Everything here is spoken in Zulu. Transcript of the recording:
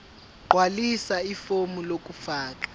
gqwalisa ifomu lokufaka